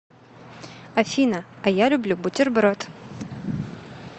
афина а я люблю бутерброд